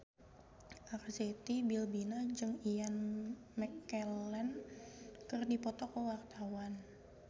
Arzetti Bilbina jeung Ian McKellen keur dipoto ku wartawan